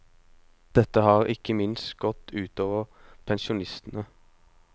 Dette har ikke minst gått ut over pensjonistene.